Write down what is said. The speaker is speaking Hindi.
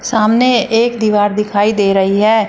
सामने एक दीवार दिखाई दे रही है।